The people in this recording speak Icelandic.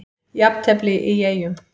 Jafntefli í Eyjum